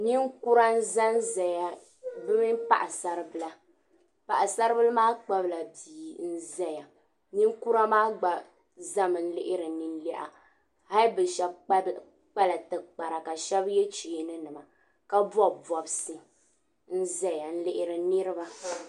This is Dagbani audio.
Nin kura n ʒanʒaya. bɛ mini paɣi saribili, paɣisaribili maa kpahila biya. n ʒaya. ninkura maa gba ʒami lihiri nin lina hali bɛ shabi kpala ti kpara kashabi ye cheeni nima ka bɔbi bɔbsi n ʒaya nlihiri niriba